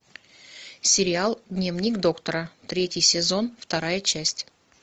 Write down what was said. сериал дневник доктора третий сезон вторая часть